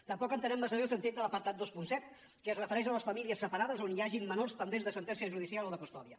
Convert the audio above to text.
tampoc entenem massa bé el sentit de l’apartat vint set que es refereix a les famílies separades a on hi hagin menors pendents de sentència judicial o de custòdia